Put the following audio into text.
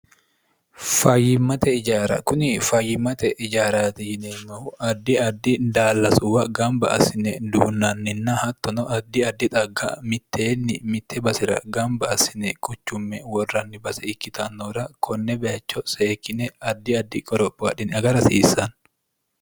fayyimmate ijaara kuni fayyimmate ijaara yineemmohu addi addi daallasuwa gamba asine duunnaanninna hattono addi addi xagga mitteenni mitte basera gamba asine quchumma worranni base ikkitannoora konne baycho seekkine addi addi qoropho wodhini aga hasiissanno